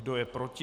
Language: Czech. Kdo je proti?